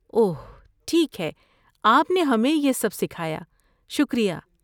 اوہ، ٹھیک ہے، آپ نے ہمیں یہ سب سکھایا، شکریہ